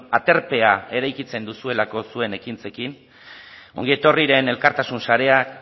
aterpea eraikitzen duzuelako zuen ekintzekin ongi etorriren elkartasun sarea